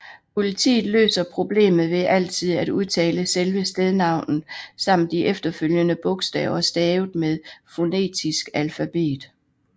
Politiet løser problemet ved altid at udtale selve stednavnet samt de efterfølgende bogstaver stavet med fonetisk alfabet